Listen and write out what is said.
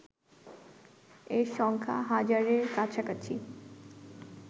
এর সংখ্যা হাজারের কাছাকাছি